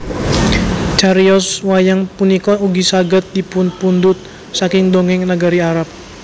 Cariyos wayang punika ugi saged dipunpundhut saking dongèng nagari Arab